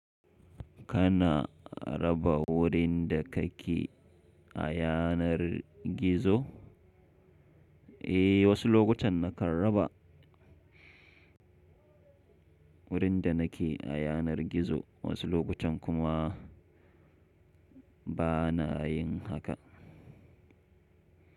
Kana raba wurin da kake a yanar gizo? Eh, wasu lokutan na kan raba wurin da nake a yanar gizo wasu lokutan kuma bana yin haka.